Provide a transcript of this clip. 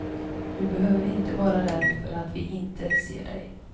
Du behöver inte vara rädd för att vi inte ser dig.